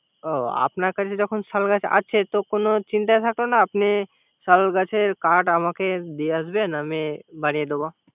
ও আপনার কাছে যখন শাল কাঠ আছে। তো কোন চিন্তা থাকলো আপনি শাল গাছের কাঠ দিয়ে আসবে। আমি বানিয়ে দিবো।